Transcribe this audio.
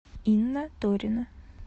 инна торина